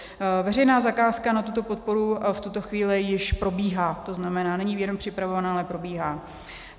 Veřejná zakázka na tuto podporu v tuto chvíli již probíhá, to znamená, není jenom připravovaná, ale probíhá.